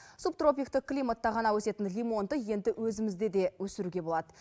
субтропиктік климатта ғана өсетін лимонды енді өзімізде де өсіруге болады